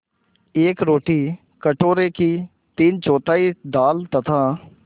एक रोटी कटोरे की तीनचौथाई दाल तथा